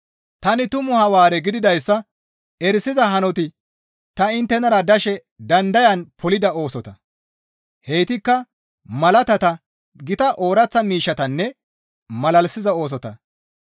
Tani tumu Hawaare gididayssa erisiza hanoti ta inttenara dashe dandayan polida oosota; heytikka malaatata, gita ooraththa miishshetanne malalisiza oosota.